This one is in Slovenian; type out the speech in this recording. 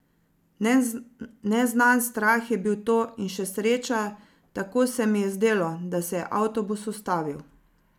Neznan strah je bil to in še sreča, tako se mi je zdelo, da se je avtobus ustavil.